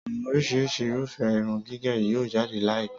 Àwọn oríṣi Irúfẹ́ irun gígẹ̀ yóò jáde láì pẹ́